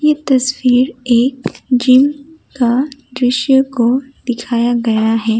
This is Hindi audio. तस्वीर एक जीम का दृश्य को दिखाया गया है।